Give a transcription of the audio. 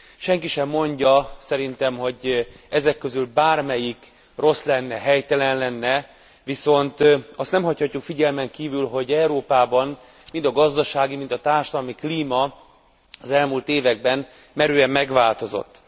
Senki sem mondja szerintem, hogy ezek közül bármelyik rossz lenne, helytelen lenne, viszont azt nem hagyhatjuk figyelmen kívül, hogy Európában, mind a gazdasági, mind a társadalmi klíma ez elmúlt években merően magváltozott.